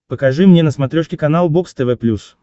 покажи мне на смотрешке канал бокс тв плюс